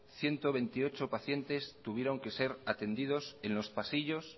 ciento veintiocho pacientes tuvieron que ser atendidos en los pasillos